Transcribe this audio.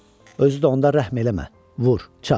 Özü də onda rəhm eləmə, vur, çat.